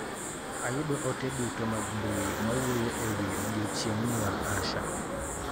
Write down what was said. Ayudo ote duto mag mbui mawuoyo ewi odiochieng' nyuol Asha.